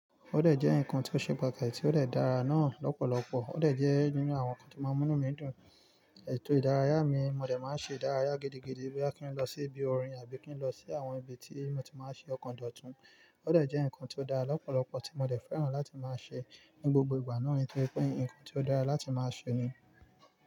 Ódẹ̀ jẹ́ nǹkan tí ó ṣe pàtàkì tí ó dè dára náà lọ́pọ̀lọpọ̀. Ódẹ̀ jẹ́ nínú àwọn ǹkan tí o ma n mú inu mi dùn. Ètò ìdárayá mi, mo dẹ̀ má ń ṣe ìdárayá gidigidi bí a kí ń lọ sí ibi orin àbí kí ń lọ sí àwọn ibi tí mo ti máa ń ṣe ọ̀kọ̀ndọ̀tún. Ódẹ̀ jẹ́ ǹkan tí ó dára lọ́pọ̀lọpọ̀ tí mo dẹ̀ fẹ́ràn láti máa ṣe ní gbogbo ìgbà náà torípé ǹkan tí ó dára láti máa ṣe ni.